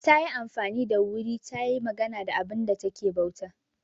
Ta yi amfani da wuri ta yi magana da abinda ta ke bauta.